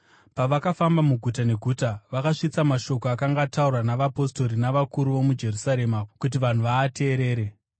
Pavakafamba muguta neguta, vakasvitsa mashoko akanga ataurwa navapostori navakuru vomuJerusarema kuti vanhu vaateerere.